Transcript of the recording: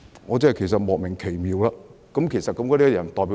我對此感到莫名奇妙，其實那些人代表誰呢？